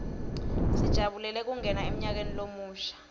sijabulela kungena emnyakeni lomusha